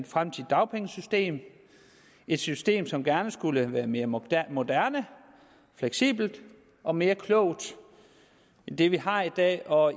fremtidigt dagpengesystem et system som gerne skulle være mere moderne moderne fleksibelt og mere klogt end det vi har i dag og